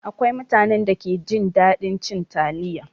Akwai mutanen da ke jin daɗin cin taliya.